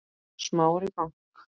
Smári bank